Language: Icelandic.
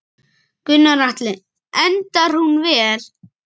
Gunnar Atli: Endar hún vel?